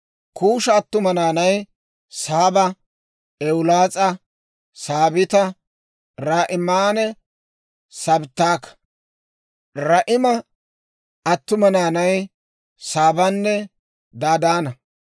Kuusha attuma naanay: Saaba, Ewulaas'a, Saabita, Raa'imanne Sabttaka. Raa'ima attuma naanay: Saabanne Dadaana.